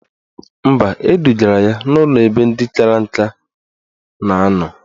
Mba, edugara ya n'ụlọ ebe ndị kara nka na anọ